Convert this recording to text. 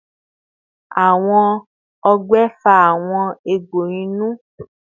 Awọn ọgbẹ fa awọn egbo inu